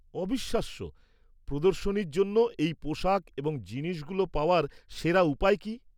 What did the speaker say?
অবিশ্বাস্য। প্রদর্শনীর জন্য এই পোশাক এবং জিনিসগুলো পাওয়ার সেরা উপায় কি?